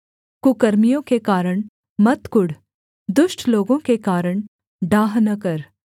कुकर्मियों के कारण मत कुढ़ दुष्ट लोगों के कारण डाह न कर